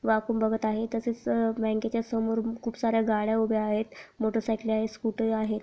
वाकून बघत आहे तसेच अह बँकेच्या समोर खूप सार्‍या गाड्या उभे आहेत मोटरसायकले आहे स्कूटर आहे.